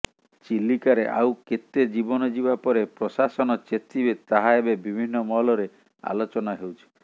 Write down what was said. ଚିଲିକାରେ ଆଉ କେତେ ଜୀବନ ଯିବା ପରେ ପ୍ରଶାସନ ଚେତିବେ ତାହା ଏବେ ବିଭିନ୍ନ ମହଲରେ ଆଲୋଚନା ହେଉଛି